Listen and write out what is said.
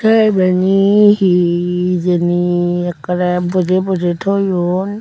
te ibeni he hijeni ekkorey bojey bojey toyon.